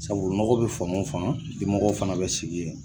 Sabu nɔgɔ bɛ fan o fan dimɔgɔw fana bɛ sigi yen